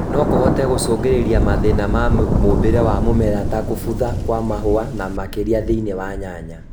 nokũhote gũcũngĩrĩria mathĩna ma mĩũmbĩre wa mũmera ta kũbutha Kwa mahũa na makĩria thĩinĩ wa nyanya